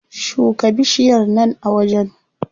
Shuka bishiyar nan a wajen.